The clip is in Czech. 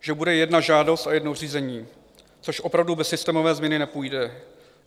Že bude jedna žádost a jedno řízení, což opravdu bez systémové změny nepůjde.